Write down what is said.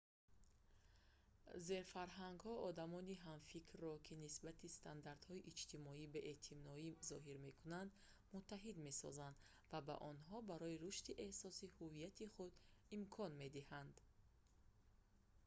зерфарҳангҳо одамони ҳамфикрро ки нисбати стандартҳои иҷтимоӣ беэътиноӣ зоҳир мекунанд муттаҳид месозанд ва ба онҳо барои рушди эҳсоси ҳуввияти худ имкон медиҳанд